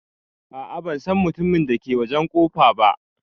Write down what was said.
A'a ban San mutumin da ke wajen kofa ba.